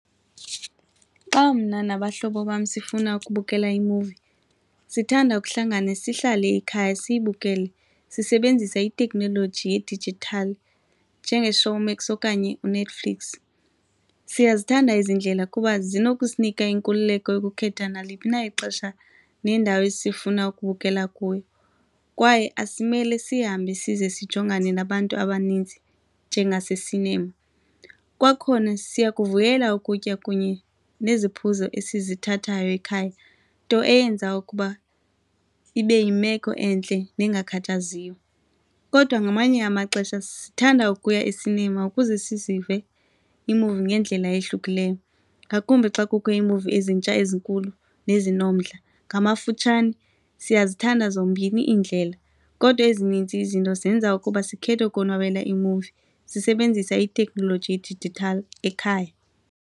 Xa mna nabahlobo bam sifuna ukubukela imuvi, sithanda ukuhlangana sihlale ekhaya siyibukele sisebenzisa iteknoloji yedijithali njengeShowmax okanye iNetfliix. Siyazithanda ezi ndlela kuba zinokusinika inkululeko yokukhetha naliphi na ixesha nendawo esifuna ukubukela kuyo kwaye asimele sihambe size sijongane nabantu abaninzi njengase-cinema. Kwakhona siyakuvuyela ukutya kunye neziphuzo esizithathayo ekhaya, nto eyenza ukuba ibe yimeko entle nengakhathaziyo. Kodwa ngamanye amaxesha sithanda ukuya e-cinema ukuze sizive iimuvi ngendlela ehlukileyo, ngakumbi xa kukho iimuvi ezintsha ezinkulu nezinomdla. Ngamafutshane, siyazithanda zombini iindlela kodwa ezininzi izinto zenza ukuba sikhethe ukonwabela iimuvi sisebenzisa itekhnoloji yedijithali ekhaya.